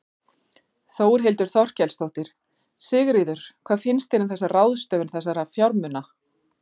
Þórhildur Þorkelsdóttir: Sigríður, hvað finnst þér um þessa ráðstöfun þessa fjármuna?